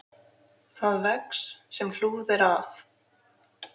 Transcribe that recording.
Það vex, sem hlúð er að.